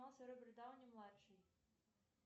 роберт дауни младший